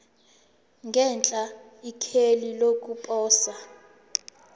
ngenhla ikheli lokuposa